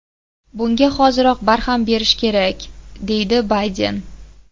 Bunga hoziroq barham berish kerak”, dedi Bayden.